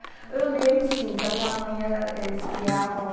Eu lembro, sim, que a minha mãe, ela, eles criavam...